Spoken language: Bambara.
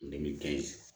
Ne bɛ kɛ